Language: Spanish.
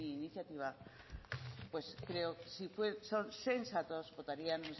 iniciativa creo si son sensatos votarían